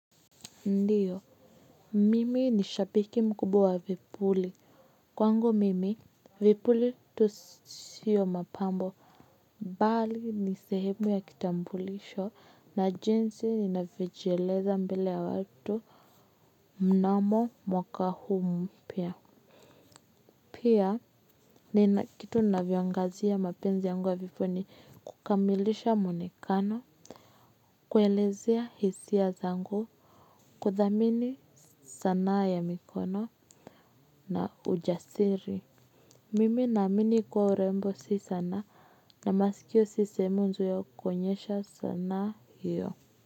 Ndiyo, mimi ni shabiki mkubwa vipuli, kwangu mimi, vipuli tu sio mapambo, bali ni sehemu ya kitambulisho, na jinsi ninavyojieleza mbele ya watu, mnamo mwaka huu mpya. Pia nina kitu navyongazia mapenzi yangu ya vipuli kukamilisha mwonekano kuelezea hisia zangu kuthamini sanaa ya mikono na ujasiri. Mimi na amini kuwa urembo si sanaa na masikio si sehemu nzuri ya kuonyesha sanaa hiyo.